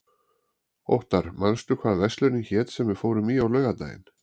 Óttar, manstu hvað verslunin hét sem við fórum í á laugardaginn?